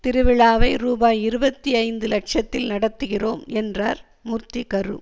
திருவிழாவை ரூபாய் இருபத்தி ஐந்து லட்சத்தில் நடத்துகிறோம் என்றார் மூர்த்தி கரு